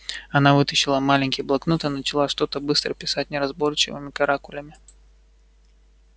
она вытащила маленький блокнот и начала что-то быстро писать неразборчивыми каракулями